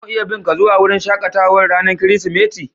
Za mu iya bin ka zuwa wurin shakatawan ranan kiristimeti?